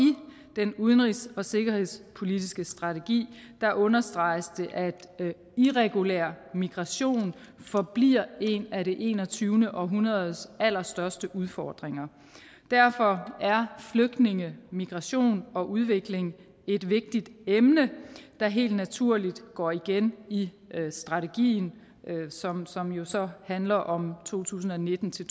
den udenrigs og sikkerhedspolitiske strategi understreges det at irregulær migration forbliver en af det enogtyvende århundredes allerstørste udfordringer derfor er flygtninge migration og udvikling et vigtigt emne der helt naturligt går igen i strategien som som jo så handler om to tusind og nitten til